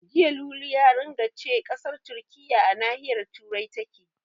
Jiya Lulu ya ringa ce ƙasar Turkiyya a nahiyar Turai take.